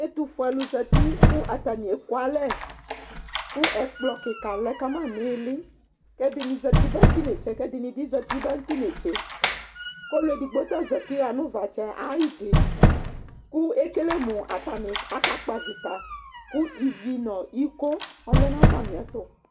ɛtofue alo zati kò atani ɛku alɛ kò ɛkplɔ keka lɛ kama n'ili k'ɛdini zati ba no t'inetse k'ɛdini bi zati ba no t'inetse k'ɔlu edigbo ta zati ɣa no uvatsɛ ayidi kò ekele mo atani aka kpɔ avita kò ivi no iko ɔlɛ n'atamiɛto